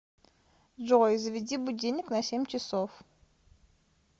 джой заведи будильник на семь часов